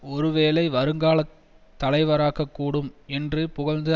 ஒருவேளை வருங்கால தலைவராகக்கூடும் என்று புகழ்ந்து